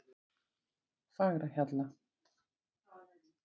Fagrahjalla